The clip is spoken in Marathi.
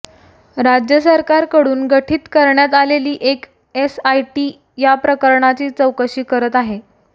राज्य सरकारकडून गठीत करण्यात आलेली एक एसआयटी या प्रकरणाची चौकशी करत आहे